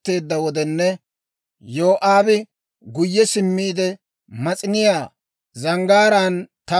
Neeni biittaa k'aatsaadanne za'issaadda; biittay kokkoriyaa diraw, neeni Aa za'uwaa bara.